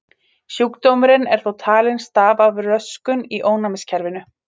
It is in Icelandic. Sjúkdómurinn er þó talinn stafa af röskun í ónæmiskerfinu.